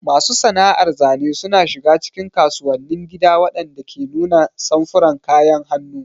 Masu sana'ar zane suna shiga cikin kasuwannin gida waɗanda ke nuna samfuran kayan hannu.